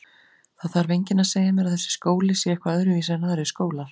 Það þarf enginn að segja mér að þessi skóli sé eitthvað öðruvísi en aðrir skólar.